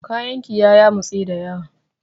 Kayan ki ya yamutse dayawa.